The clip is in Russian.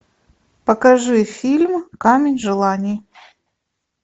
покажи фильм камень желаний